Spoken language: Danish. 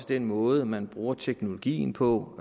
den måde man bruger teknologien på